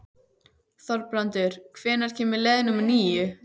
Þorbrandur, hvenær kemur leið númer níu?